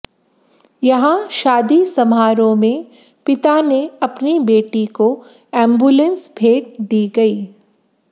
यहां शादी समारोह में पिता ने अपनी बेटी को एमंबुलेंस भेंद दी गई